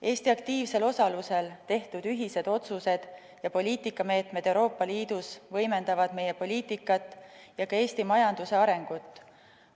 Eesti aktiivsel osalusel tehtud ühised otsused ja poliitikameetmed Euroopa Liidus võimendavad meie poliitikat ja ka Eesti majanduse arengut.